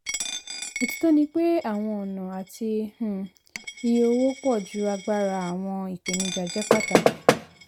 òtítọ́ ni pé àwọn ọ̀nà àti um iye owó pòju agbára àwọn ìpèníjà jẹ́ pàtàkì